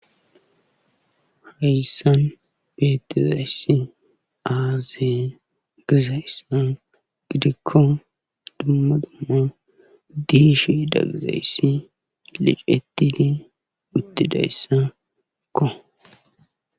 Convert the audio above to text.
Hayssan beetizayssi aaze gizayssa giddikko dumma dumma disheda gizayssi liccetidi uttidayssakko.